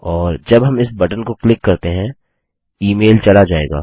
और जब हम इस बटन को क्लिक करते हैं ईमेल चला जाएगा